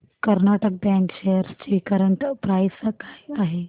Karnataka bank shares ची current price काय आहे